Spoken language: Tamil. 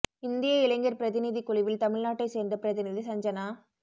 இந்திய இளைஞர் பிரதிநிதிக் குழுவில் தமிழ் நாட்டைச் சேர்ந்த பிரதிநிதி சஞ்ஜனா